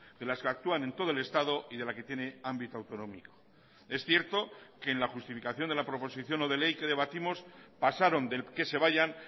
de las que actúan en todo el estado y de la que tiene ámbito autonómico es cierto que en la justificación de la proposición no de ley que debatimos pasaron del que se vayan